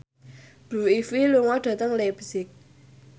Blue Ivy lunga dhateng leipzig